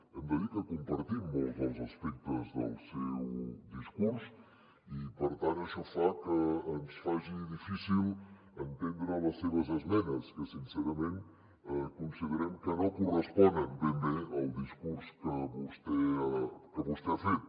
hem de dir que compartim molts dels aspectes del seu discurs i per tant això fa que ens faci difícil entendre les seves esmenes que sincerament considerem que no corresponen ben bé al discurs que vostè ha fet